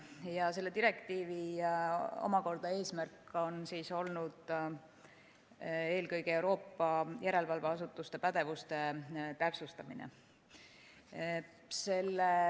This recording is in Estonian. Omakorda selle direktiivi eesmärk on olnud eelkõige Euroopa järelevalveasutuste pädevuse täpsustamine.